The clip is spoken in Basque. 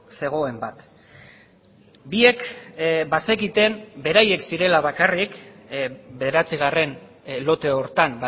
zegoen bat biek bazekiten beraiek zirela bakarrik bederatzigarren lote horretan